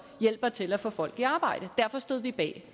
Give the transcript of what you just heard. hjælper til at få folk i arbejde derfor stod vi bag